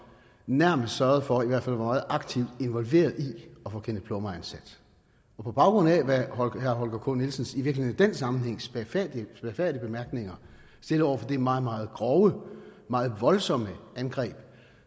nærmest sørgede for og i hvert fald var meget aktivt involveret i at få kenneth plummer ansat på baggrund af herre holger k nielsens i virkeligheden i den sammenhæng spagfærdige bemærkninger stillet over for det meget meget grove meget voldsomme angreb